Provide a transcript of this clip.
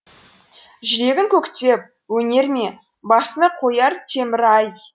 жүрегің көктеп өнер ме басыңа қояр темір ай